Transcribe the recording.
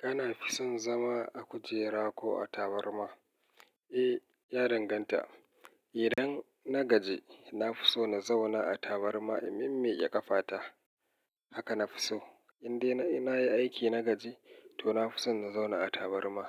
Kana fison zama a kujera ko a tabarma? Eh, ya danganta. Idan na gaji, na fi so na zauna a tabarma, in mimmi ƙe ƙafa ta. Haka na fi so. In dai na yi aiki na gaji, to na fi so na zauna a tabarma.